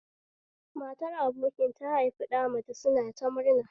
Matar abokin na haifi ɗa namace suna ta murna